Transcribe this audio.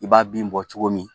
I b'a bin bɔ cogo min